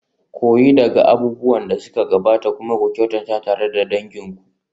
Koyi daga abubuwan da suka gabata kuma ku kyautata tare da dangin ku.